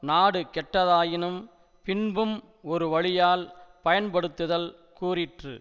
நாடு கெட்டதாயினும் பின்பும் ஒருவழியால் பயன்படுத்துதல் கூறிற்று